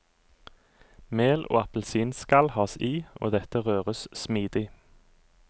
Mel og appelsinskall has i, og dette røres smidig.